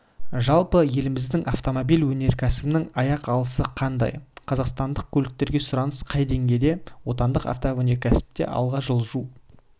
жалпы еліміздің автомобиль өнеркәсібінің аяқ алысы қандай қазақстандық көліктерге сұраныс қай деңгейде отандық автоөнеркәсіпте алға жылжу